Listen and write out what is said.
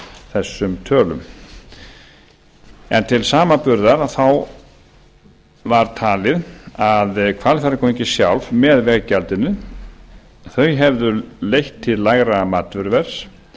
þessum tölum en til samanburðar þá var talið að hvalfjarðargöngin sjálf með veggjaldinu hefðu leitt til lægra matvöruverðs